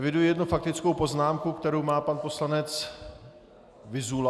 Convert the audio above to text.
Eviduji jednu faktickou poznámku, kterou má pan poslanec Vyzula.